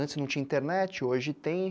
Antes não tinha internet, hoje tem.